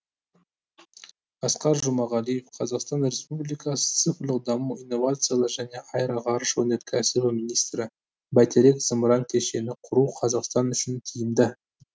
асқар жұмағалиев қазақстан республикасы цифрлық даму инновациялар және аэроғарыш өнеркәсібі министрі бәйтерек зымыран кешенін құру қазақстан үшін тиімді